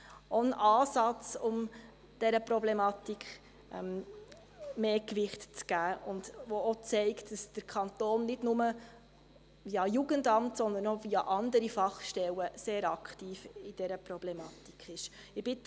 Auch das ist ein Ansatz, um der Problematik mehr Gewicht zu geben, und diese zeigt, dass der Kanton nicht bloss via Jugendamt, sondern auch via andere Stellen bei dieser Problematik ist sehr aktiv.